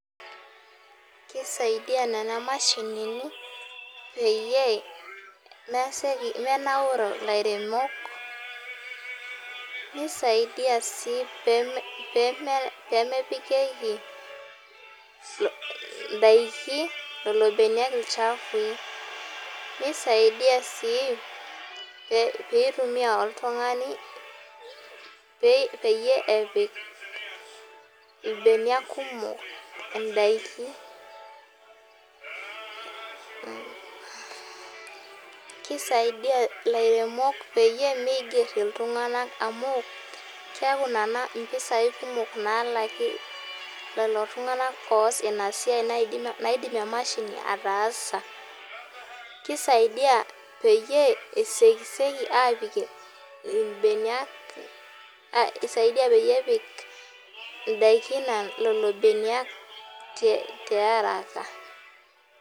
Kisaidia nena mashinini peyie meseki menauri lairemok. Nisaidia si pemepikieki idaiki lolo beniak ilchafui. Nisaidia si pitumia oltung'ani peyie epik irbeniak kumok idaiki. Kisaidia ilairemok peyie miger iltung'anak amu keku nena impisai kumok nalaki lelo tung'anak oas inasiai naidim imashinini ataasa. Kisaidia peyie esekiseki apik isaidia peyie epik idaikin lelo beniak tiaraka.